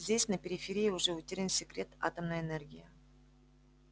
здесь на периферии уже утерян секрет атомной энергии